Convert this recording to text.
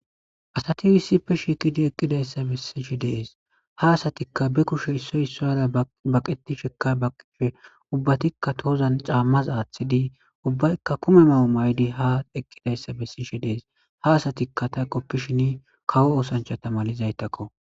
Asati issippe shiiqi eqqidayssa bessishe de'es. Ha asatikka be kushe issoy issuwara baqetishekka baqqishe ubbatikka tohozan caammaza aaththidi ubbaykka kume mayo mayidi ha eqqidayssa bessishe dees. Ha asatikka ta qoppishin kawo oosanchchata malizaytakko.